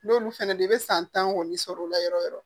N'olu fɛnɛ don i bɛ san tan kɔni sɔrɔ o la yɔrɔ yɔrɔ